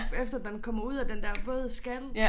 Efter den kommer ud af den der våde skal